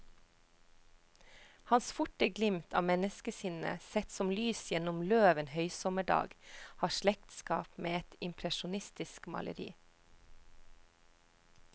Hans forte glimt av menneskesinnet, sett som lys gjennom løv en høysommerdag, har slektskap med et impresjonistisk maleri.